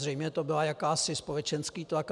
Zřejmě to byl jakýsi společenský tlak.